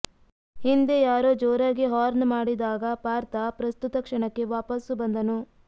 ಹಿಂದೆ ಯಾರೋ ಜೋರಾಗಿ ಹಾರ್ನ್ ಮಾಡಿದಾಗ ಪಾರ್ಥ ಪ್ರಸ್ತುತ ಕ್ಷಣಕ್ಕೆ ವಾಪಸ್ಸು ಬಂದನು